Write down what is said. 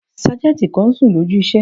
Sájẹ̀ntì kan n sùn lójú iṣẹ́